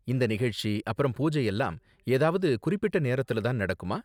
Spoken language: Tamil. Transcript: இந்த நிகழ்ச்சி அப்பறம் பூஜை எல்லாம் ஏதாவது குறிப்பிட்ட நேரத்துல தான் நடக்குமா?